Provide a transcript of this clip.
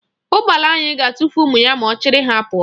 Ụgbala anyị ga-atụfu ụmụ ya ma ọ chịrị ha pụọ.